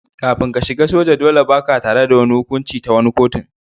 Kafin ka shiga soja, dolle ba'ka tare da wani hukunci ta wani kotu.